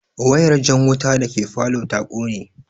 Wayar jan wuta dake falow ta kone